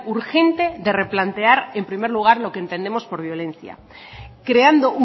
urgente de replantear en primer lugar lo que entendemos por violencia creando